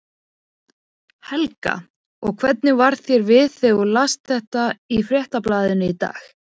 Helga: Og hvernig varð þér við þegar þú last þetta í Fréttablaðinu í dag?